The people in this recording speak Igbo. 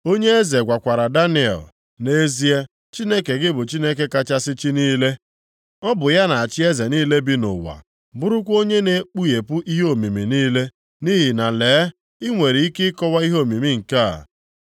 Onye eze gwakwara Daniel, “Nʼezie, Chineke gị bụ Chineke kachasị chi niile. Ọ bụ ya na-achị eze niile bi nʼụwa, bụrụkwa Onye na-ekpughepụ ihe omimi niile, nʼihi na lee, i nwere ike ịkọwa ihe omimi nke a.”